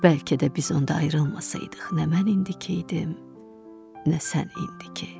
Bəlkə də biz onda ayrılmasaydıq, nə mən indikidim, nə sən indiki.